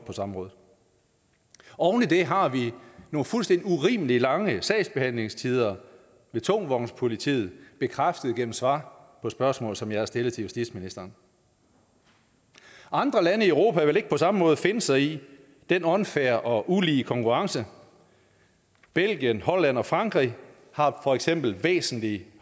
på samrådet oven i det har vi nogle fuldstændig urimelig lange sagsbehandlingstider ved tungvognspolitiet bekræftet gennem svar på spørgsmål som jeg har stillet til justitsministeren andre lande i europa vil ikke på samme måde finde sig i den unfair og ulige konkurrence belgien holland og frankrig har for eksempel væsentlig